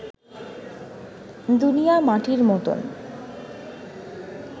দুনিয়ার মাটির মত